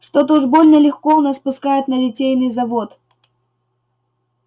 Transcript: что-то уж больно легко у нас пускают на литейный завод